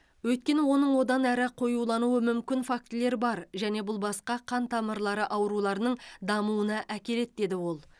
өйткені оның одан әрі қоюлануы мүмкін фактілер бар және бұл басқа қан тамырлары ауруларының дамуына әкеледі деді ол